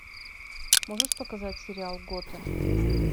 можешь показать сериал готэм